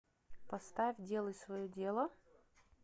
поставь делай свое дело